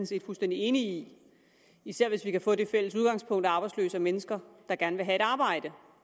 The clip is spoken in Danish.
set fuldstændig enig i især hvis vi kan få det fælles udgangspunkt at arbejdsløse er mennesker der gerne vil have et arbejde